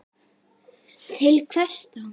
Til hvers þá?